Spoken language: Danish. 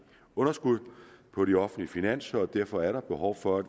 underskud på de offentlige finanser og derfor er der behov for at